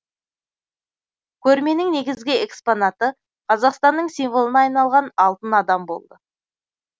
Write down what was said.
көрменің негізгі экспонаты қазақстанның символына айналған алтын адам болды